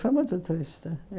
Foi muito triste.